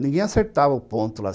Ninguém acertava o ponto lá